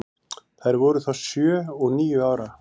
Þær voru þá sjö og níu ára.